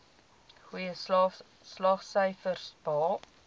goeie slaagsyfers behaal